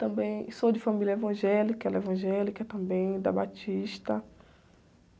Também sou de família evangélica, ela é evangélica também, da Batista.